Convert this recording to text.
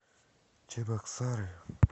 чебоксары